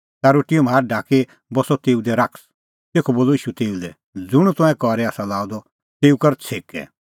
ता रोटीए म्हारा ढाकदी बस्सअ तेऊ दी शैतान तेखअ बोलअ ईशू तेऊ लै ज़ुंण तंऐं करी आसा लाअ द तेऊ कर छ़ेकै